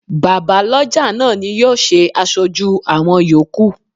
Bàbá lọ́jà náà ni yóò ṣe aṣojú àwọn yòókù.